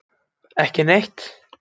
Ekki neitt